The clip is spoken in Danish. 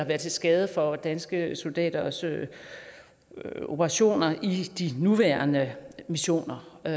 være til skade for danske soldaters operationer i de nuværende missioner jeg